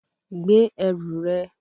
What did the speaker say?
Gbé ẹrù rẹ